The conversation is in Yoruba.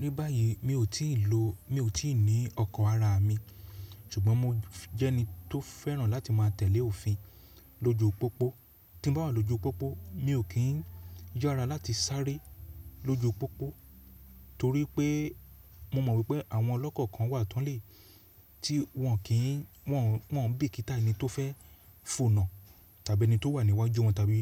Ní báyìí mi ó ti lo mi ò tíì ní ọkọ̀ ara mi, ṣùgbọ́n mo jẹ́ ẹni tó fẹ́ràn láti má a tẹ̀lé òfin lójú pópó. Tí bá wà lójú pópó, mi ò kí ń yára láti sárẹ́ lójú pópó torí pé mo mọ̀ wípé àwọn ọlọ́kọ̀ kan wà tánlè tí wọn kì, wọn ń bí i kítá ẹni tó fẹ́ foná tàbí ẹni tó wà níwájú wọn tàbí